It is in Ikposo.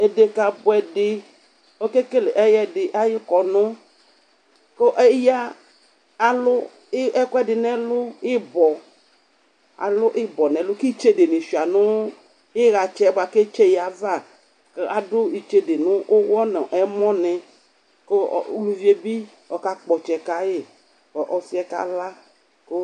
Edeka buɛdi, okekele ɛyɛdi ayʋ kɔnʋ kʋ eya alʋ ɛkʋɛdi nɛlʋ kʋ ibɔ, alʋ ibɔ nɛlʋ kʋ itsede ni sua nʋ iɣatsɛ boa kʋ etse yɛ ava Adʋ itsede nʋ ʋwɔ nʋ ɛmɔ ni kʋ uluvie bi ɔkakpɔ tsɛ kayi kʋ ɔsi ɛ kala